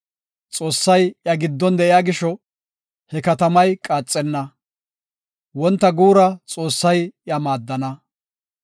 Xoossay iya giddon de7iya gisho, he katamay qaaxenna; wonta guura Xoossay iya maaddana.